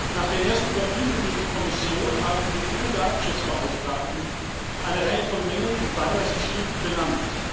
Nach der ersten Überprüfung durch die Kommission haben die EU Datenschutzbeauftragten eine Reihe von Mängeln im benannt.